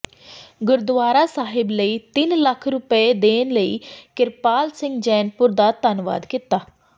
ਗੁਰਦੁਆਰਾ ਸਾਹਿਬ ਲਈ ਤਿੰਨ ਲੱਖ ਰੁਪਏ ਦੇਣ ਲਈ ਕਿਰਪਾਲ ਸਿੰਘ ਜੈਨਪੁਰ ਦਾ ਧੰਨਵਾਦ ਕੀਤਾ